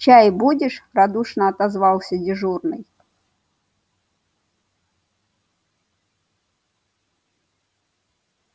чай будешь радушно отозвался дежурный